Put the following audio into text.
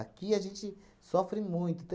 a gente sofre muito.